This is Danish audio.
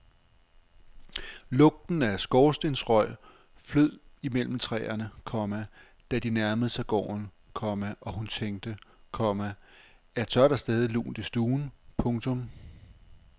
Lugten af skorstensrøg flød imellem træerne, komma da de nærmede sig gården, komma og hun tænkte, komma at så er der stadig lunt i stuen. punktum